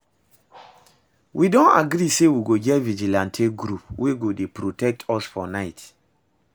We don agree say we go get vigilante group wey go dey protect us for night